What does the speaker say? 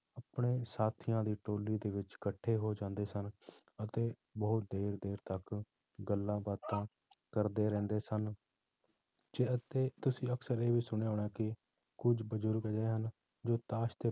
ਆਪਣੇ ਸਾਥੀਆਂ ਦੀ ਟੋਲੀ ਦੇ ਵਿੱਚ ਇਕੱਠੇ ਹੋ ਜਾਂਦੇ ਸਨ ਅਤੇ ਬਹੁਤ ਦੇਰ ਦੇਰ ਤੱਕ ਗੱਲਾਂ ਬਾਤਾਂ ਕਰਦੇ ਰਹਿੰਦੇ ਸਨ ਜਿਵੇਂ ਕਿ ਤੁਸੀਂ ਅਕਸਰ ਹੀ ਸੁਣਿਆ ਹੋਣਾ ਕਿ ਕੁੱਝ ਬਜ਼ੁਰਗ ਅਜਿਹੇ ਹਨ ਜੋ ਤਾਸ਼